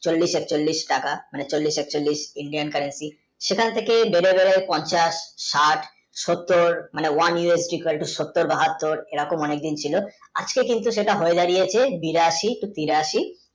চল্লিশ এচল্লিশ টাকা মানে চল্লিশ এচল্লিশ Indian currency সেইখান থেকে বের হয় পঞ্চাশ সাইট সত্তর মানে সত্তর বাহাত্তর এরকম অনেকদিন ছিল আজকে কিন্তু সেটা হয়ে দাঁড়িয়েছে বিরাশি কি তিরাশি